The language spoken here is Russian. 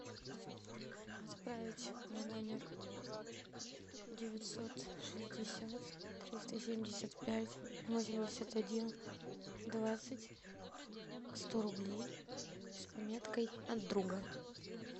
отправить на номер девятьсот шестьдесят триста семьдесят пять восемьдесят один двадцать сто рублей с пометкой от друга